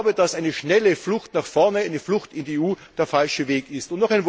Ich glaube, dass eine schnelle Flucht nach vorne, eine Flucht in die EU, der falsche Weg ist.